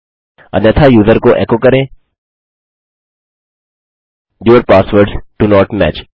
अन्यथा यूज़र को एको करें your passwords do not match